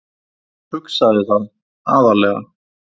Hugsaði það,- aðallega.